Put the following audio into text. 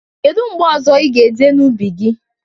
Kedu mgbe ọzọ ị ga-eje n'ubi gi?